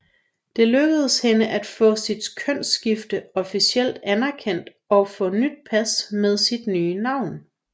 Det lykkedes hende at få sit kønsskifte officielt anerkendt og få nyt pas med sit nye navn